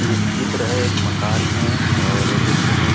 ये जो चित्र हे एक माकन हे और नीचे में--